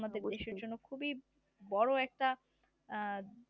অ্যাঁ